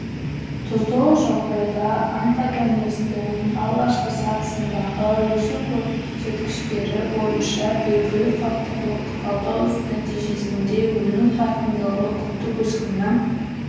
тұздылық жағдайда онтогенездің алғашқы сатысындағы өсу көрсеткіштері бойынша белгіні факторлық талдау нәтижесінде өну қарқындылығы күндік өскіннің